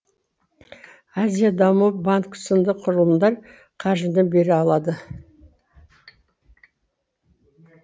азия даму банкі сынды құрылымдар қаржыны бере алады